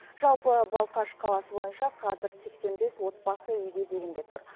жалпы балқаш қаласы бойынша қазір сексен бес отбасы үй кезегінде тұр